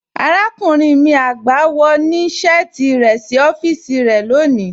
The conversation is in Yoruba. Àràkúnrìn mi àgbá, wọ́ ní ọfisì rẹ sí ọfisì rẹ lọ́ní.